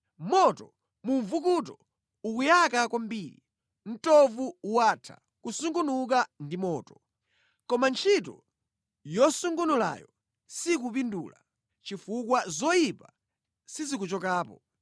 Moto mu mvukuto ukuyaka kwambiri; mtovu watha kusungunuka ndi moto. Koma ntchito yosungunulayo sikupindula chifukwa zoyipa sizikuchokapo.